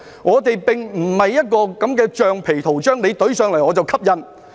我們並非橡皮圖章，政府提交，我們便蓋印。